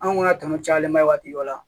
Anw ka tɔnɔ cayalen ba ye waati dɔ la